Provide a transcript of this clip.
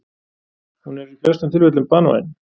hún er í flestum tilfellum banvæn